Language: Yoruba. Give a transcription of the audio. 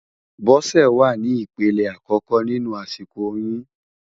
Bose wá ni ipélé àkòkò ninú àsikó óyùn